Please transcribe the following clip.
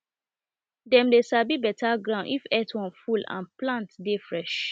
dem the sabi better ground if earthworm full and plant dey fresh